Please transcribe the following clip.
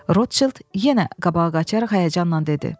Rotşild yenə qabağa qaçaraq həyəcanla dedi.